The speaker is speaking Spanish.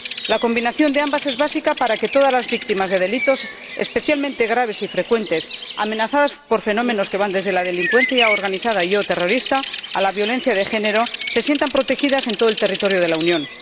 La combinación de ambas es básica para que todas las víctimas de delitos, especialmente de graves y frecuentes, amenazadas por fenómenos que van desde la delincuencia organizada y o terrorista a la violencia de género se sientan protegidas en todo el territorio de la Unión.